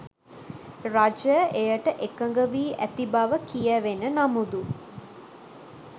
රජය එයට එකඟ වී ඇති බව කියැවෙන නමුදු